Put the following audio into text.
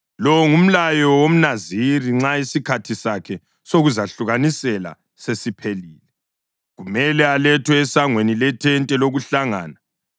Lo ngumlayo womNaziri nxa isikhathi sakhe sokuzahlukanisela sesiphelile. Kumele alethwe esangweni lethente lokuhlangana.